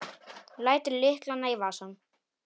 Lætur lyklana í vasann.